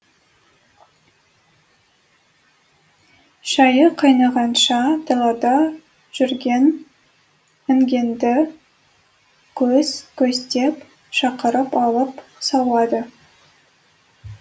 шайы қайнағанша далада жүрген інгенді көс көстеп шақырып алып сауады